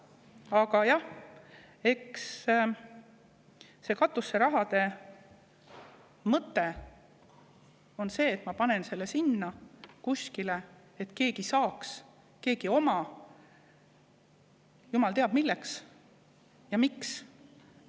Aga jah, eks katuseraha mõte on selles, et ma panen selle sinna kuskile, et keegi saaks, et keegi omaks, jumal teab milleks ja miks.